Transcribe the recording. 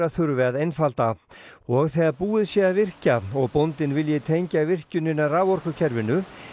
þurfi að einfalda og þegar búið sé að virkja og bóndinn vilji tengja virkjunina raforkukerfinu